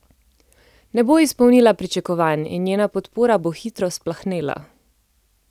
Ne bo izpolnila pričakovanj in njena podpora bo hitro splahnela.